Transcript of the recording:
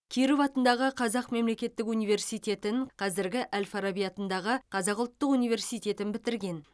киров атындағы қазақ мемлекеттік университетін қазіргі әл фараби атындағы қазақ ұлттық университетін бітірген